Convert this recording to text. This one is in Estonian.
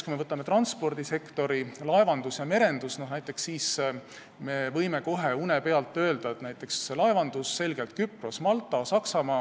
Kui me võtame transpordisektori, laevanduse ja merenduse, siis võime kohe une pealt öelda, et laevanduses on need riigid selgelt Küpros, Malta ja Saksamaa.